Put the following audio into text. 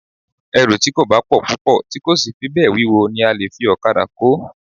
Ẹrù tí kò bá pọ̀ púpọ̀ tí kò sì fi bẹ́ẹ̀ wíwo ni a lè fi okada kó